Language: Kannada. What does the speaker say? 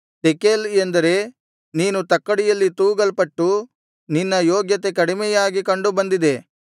ತೆಕೇಲ್ ಎಂದರೆ ನೀನು ತಕ್ಕಡಿಯಲ್ಲಿ ತೂಗಲ್ಪಟ್ಟು ನಿನ್ನ ಯೋಗ್ಯತೆ ಕಡಿಮೆಯಾಗಿ ಕಂಡು ಬಂದಿದೆ